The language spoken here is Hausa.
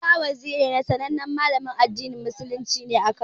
Isa Waziri sanannen Malamin addinin musulunci ne a Kano.